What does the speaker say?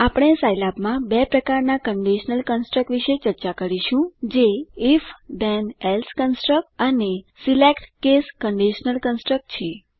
આપણે સાઈલેબમાં બે પ્રકારના કન્ડીશનલ કન્સટ્રક વિષે ચર્ચા કરીશું જે if then એલ્સે કન્સટ્રક અને select કેસ કન્ડિશનલ કન્સટ્રક છે